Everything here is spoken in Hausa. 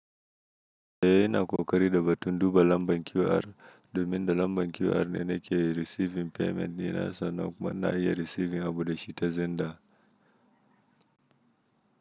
Ina kokari da batun duba lambar QR, domin da lambar QR ne nake receiving payment dina sannan kuma na iya receiving abu da shi ta xender.